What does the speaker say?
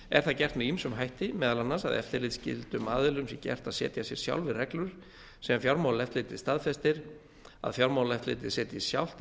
er það gert með ýmsum hætti meðal annars að eftirlitsskyldum aðilum sé gert að setja sér sjálfir reglur sem fjármálaeftirlitið staðfestir að fjármálaeftirlitið setji sjálft